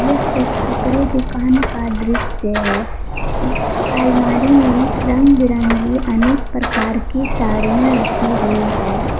यह एक कपड़े दुकान का दृश्य है इसकी आलमारी में रंग बिरंगी अनेक प्रकार की साड़ियां रखी हुई है।